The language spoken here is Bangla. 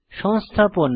সংস্থাপন